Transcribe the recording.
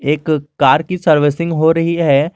इस कार की सर्विसिंग हो रही है।